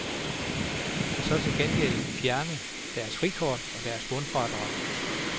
Og så til gengæld fjerne deres frikort og deres bundfradrag.